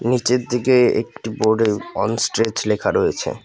নিচের দিকে একটু বোর্ডে অন স্ট্রেচ লেখা রয়েছে।